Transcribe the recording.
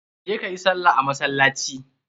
Je ka yi salla a masallaci.